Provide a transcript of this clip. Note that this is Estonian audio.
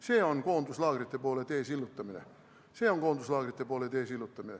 See on koonduslaagrite poole tee sillutamine.